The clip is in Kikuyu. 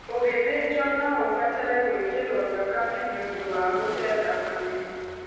Ũgĩthĩnjwo no ũbatare gwĩkĩro thakame nĩũndũ wa gũte thakame.